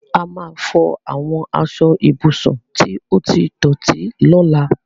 A máa fọ àwọn aṣọ ibùsùn tí ó ti dọ̀tí lọ́la.